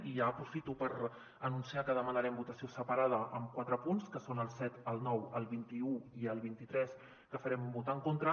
i ja aprofito per anunciar que demanarem votació separada en quatre punts que són el set el nou el vint un i el vint tres que hi farem un vot en contra